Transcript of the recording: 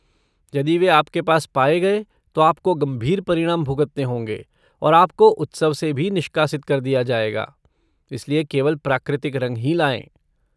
यदि वे आपके पास पाए गए, तो आपको गंभीर परिणाम भुगतने होंगे और आपको उत्सव से भी निष्कासित कर दिया जाएगा, इसलिए केवल प्राकृतिक रंग ही लाएँ।